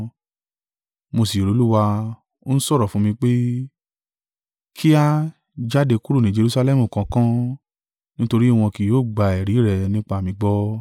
mo sì rí Olúwa, ó ń sọ̀rọ̀ fún mi pé, ‘Kíá! Jáde kúrò ní Jerusalẹmu kánkán, nítorí wọn kì yóò gba ẹ̀rí rẹ nípa mi gbọ́.’